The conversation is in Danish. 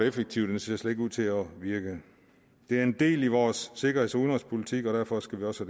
effektiv den ser slet ikke ud til at virke det er en del af vores sikkerheds og udenrigspolitik og derfor skal vi også